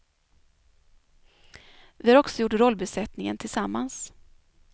Vi har också gjort rollbesättningen tillsammans.